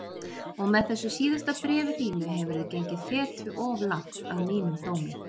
Og með þessu síðasta bréfi þínu hefurðu gengið feti of langt, að mínum dómi.